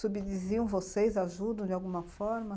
Subdiziam vocês, ajudam de alguma forma?